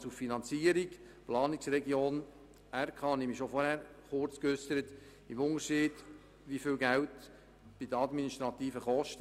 Zur Finanzierung der Planungsregion und der Regionalkonferenz, wozu ich mich bereits vorhin kurz geäussert habe: Der grosse Unterschied besteht in den administrativen Kosten.